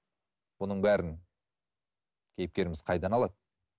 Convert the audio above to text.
бұның бәрін кейіпкеріміз қайдан алады